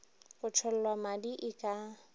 go tšhollwa madi e ka